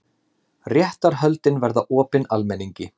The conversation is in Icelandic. Réttarhöldin verða opin almenningi